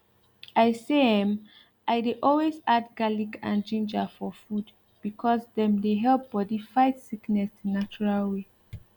i say em i dey always add garlic and ginger for food because dem dey help bodi fight sickness the natural way